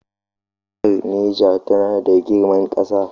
Jihar Niger tana da girman ƙasa.